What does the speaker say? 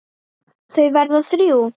Þau verða þrjú.